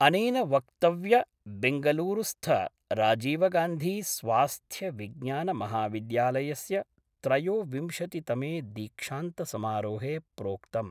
अनेन वक्तव्य बेंगलुरूस्थ राजीवगान्धी स्वास्थ्य विज्ञानमहाविद्यालयस्य त्रयोविंशति तमे दीक्षान्तसमारोहे प्रोक्तम्।